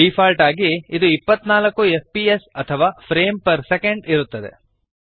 default ಆಗಿ ಇದು 24 FPS ಅಥವಾ ಫ್ರೇಮ್ಸ್ ಪರ್ ಸೆಕೆಂಡ್ ಇರುತ್ತದೆ